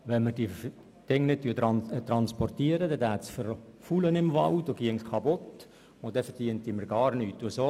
Wenn wir das Holz nicht transportierten, würde es im Wald verfaulen und man würde gar nichts verdienen.